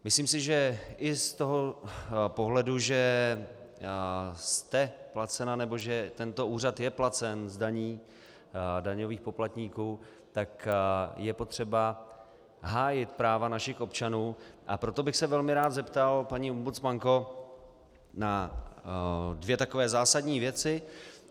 Myslím si, že i z toho pohledu, že jste placena, nebo že tento úřad je placen z daní daňových poplatníků, tak je potřeba hájit práva našich občanů, a proto bych se velmi rád zeptal, paní ombudsmanko, na dvě takové zásadní věci.